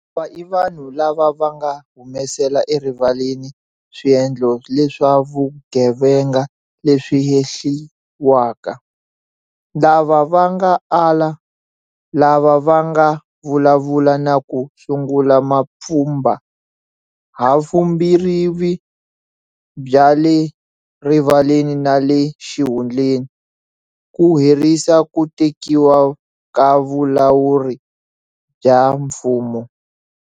Lava i vanhu lava va nga humesela erivaleni swiendlo leswa vugevenga leswi hehliwaka, lava va nga ala, lava va nga vulavula na ku sungula mapfhumba, havumbirhi bya le rivaleni na le xihundleni, ku herisa ku tekiwa ka vulawuri bya mfumo.